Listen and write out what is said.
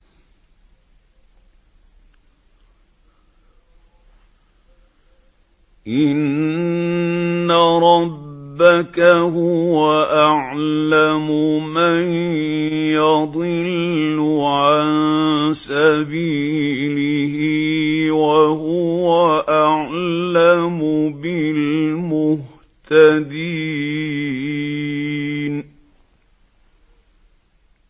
إِنَّ رَبَّكَ هُوَ أَعْلَمُ مَن يَضِلُّ عَن سَبِيلِهِ ۖ وَهُوَ أَعْلَمُ بِالْمُهْتَدِينَ